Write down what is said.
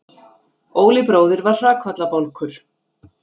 Óli bróðir var hrakfallabálkur.